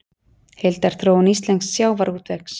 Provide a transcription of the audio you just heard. Heildarþróun íslensks sjávarútvegs